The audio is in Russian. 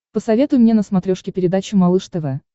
посоветуй мне на смотрешке передачу малыш тв